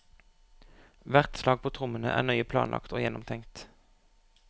Hvert slag på trommene er nøye planlagt og gjennomtenkt.